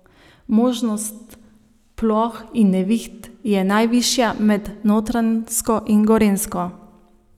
Možnost ploh in neviht je najvišja med Notranjsko in Gorenjsko.